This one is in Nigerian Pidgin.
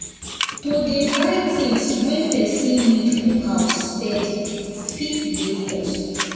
to dey buy things wey person need for house steady fit dey cost